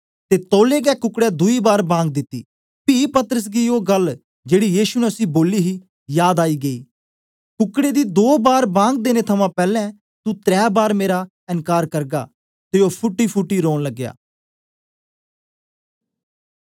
ते तौलै गै कुकडै दुई बार बांग दिती पी पतरस गी ओ गल्ल जेड़ी यीशु ने उसी बोली ही याद आई गेई कुकडै दी दो बार बांग देने थमां पैलैं तू त्रै बार मेरा एनकार करगा ते ओ फूटीफूटी रौन लगा